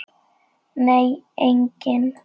Nei, enginn